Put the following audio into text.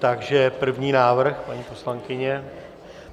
Takže první návrh, paní poslankyně.